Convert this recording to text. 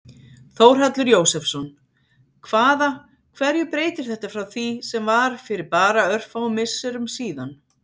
Þórhallur Jósefsson: Hvaða, hverju breytir þetta frá því sem var fyrir bara örfáum misserum síðan?